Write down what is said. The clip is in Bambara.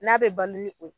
N'a bɛ balo ni o ye